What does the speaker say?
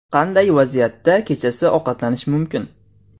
Qanday vaziyatda kechasi ovqatlanish mumkin?